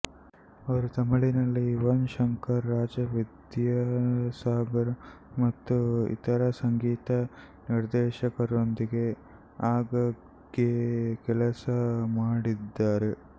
ಅವರು ತಮಿಳಿನಲ್ಲಿ ಯುವನ್ ಶಂಕರ್ ರಾಜ ವಿದ್ಯಾಸಾಗರ್ ಮತ್ತು ಇತರ ಸಂಗೀತ ನಿರ್ದೇಶಕರೊಂದಿಗೆ ಆಗಾಗ್ಗೆ ಕೆಲಸ ಮಾಡಿದ್ದಾರೆ